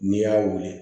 N'i y'a weele